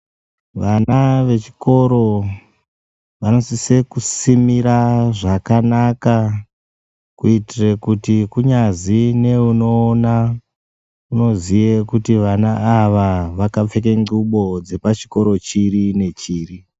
Vana vechikoro vanosise kusimira zvakanaka kuitire kuti kunyazi neunoona unoziye kuti vana ava vakapfeke nxubo dzepachikoro chiri nechiri.